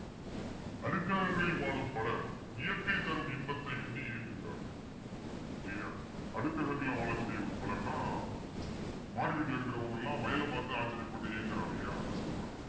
அடுத்தவங்களில் வாழும் பலர் இயற்கை தரும் இன்பத்தை எண்ணி ஏங்குகிறார்கள் இல்லையா அடுத்தவர்ல வாழக்கூடிய ஒரு பலருன்னா மாடி வீட்டுல இருக்கிறவங்க எல்லாம் வயலைப் பார்த்து ஆச்சரியப்பட்டு ஏங்குறாங்க இல்லையா அதை சொல்றாங்க